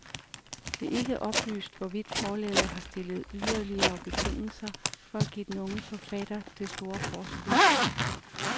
Det er ikke oplyst, hvorvidt forlaget har stillet yderligere betingelser for at give den unge forfatter det store forskud.